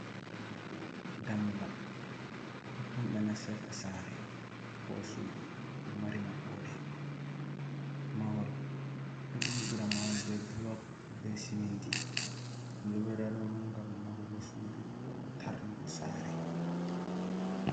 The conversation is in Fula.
Dammugal, totton ɓe nastita saare, ko suudu. Ɗo mari maɓɓoode, mahol ɓe ɗo ƴiɓira mahol be bulok, be siminti. Ƴiɓirarɗum ngam mahugo suudu koo tarnugo saare.